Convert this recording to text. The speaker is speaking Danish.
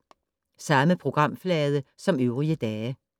Samme programflade som øvrige dage